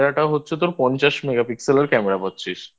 হচ্ছে তোর পঞ্চাশ Megapixel এর Camera পাচ্ছিস